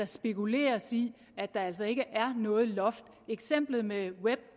spekuleres i at der altså ikke er noget loft eksemplet med web